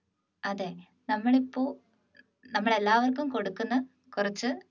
അതെ നമ്മളിപ്പോ നമ്മളെ എല്ലാവർക്കും കൊടുക്കുന്ന കുറച്ച്